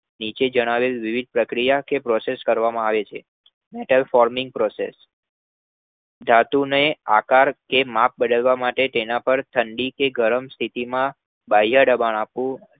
નીચે જણાવેલ વિવિધ પ્રક્રિયા કે Process કરવામાં આવે છે એટલે forming process ધાતુનો આકાર કે માપ બદલવા માટે તેના પર ઠંડી કે ગરમ સ્થિતિમાં બાહ્ય દબાણ આપી